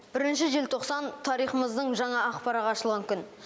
бірінші желтоқсан тарихымыздың жаңа ақ парағы ашылған күн